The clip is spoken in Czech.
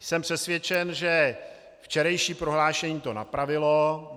Jsem přesvědčen, že včerejší prohlášení to napravilo.